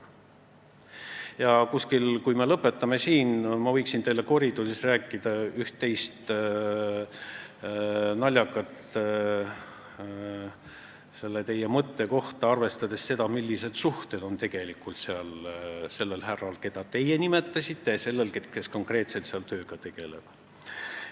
Ja kui me siin lõpetame, siis ma võiksin teile koridoris rääkida üht-teist naljakat selle teie mõtte kohta, arvestades seda, millised suhted on tegelikult sellel härral, keda teie nimetasite, ja sellel, kes seal konkreetselt tööga tegeleb.